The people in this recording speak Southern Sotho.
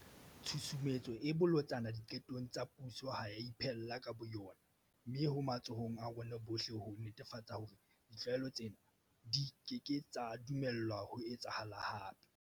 Tshusumetso e bolotsana diqetong tsa puso ha e a iphella ka bo yona. Mme ho matsohong a rona bohle ho netefatsa hore ditlwaelo tsena di keke tsa dumellwa ho etsahala hape.